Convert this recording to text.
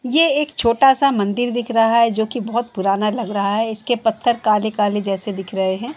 ये एक छोटा सा मंदिर दिख रहा है जो कि बोहोत पुराना लग रहा है। इसके पत्थर काले-काले जैसे दिख रहे हैं।